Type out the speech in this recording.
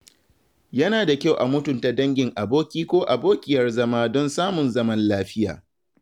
Yana da kyau a mutunta dangin aboki ko abokiyar zama don samun zaman lafiya.